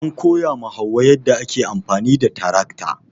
An koya ma hauwa yadda ake amfani da tarakta.